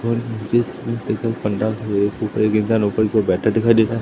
और पंडाल बैठे दिखाई देता है।